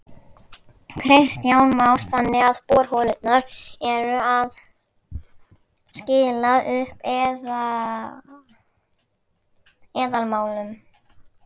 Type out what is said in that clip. Kristján Már: Þannig að borholurnar eru að skila upp eðalmálmum?